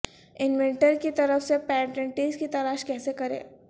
inventor کی طرف سے پیٹنٹس کی تلاش کیسے کریں